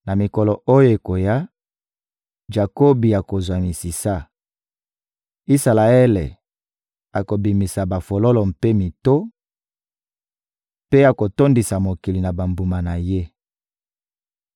Na mikolo oyo ekoya, Jakobi akozwa misisa, Isalaele akobimisa bafololo mpe mito, mpe akotondisa mokili na bambuma na ye.